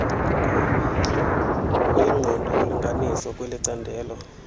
kuyinqobo yolinganiso kwelicandelo